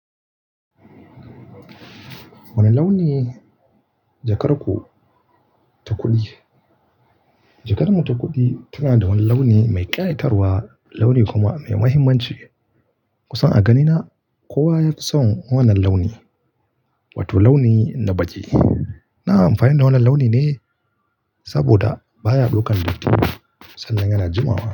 Wane launi jakar ku ta kuɗi? Jakar mu ta kuɗi tana da wani launi mai ƙayatarwa, launi kuma mai muhimmanci. Kusan a ganina kowa yafi son wannan launi, wato launi na baƙi. Na amfani da wannan launi ne saboda baya ɗaukan datti sannan yana jimawa.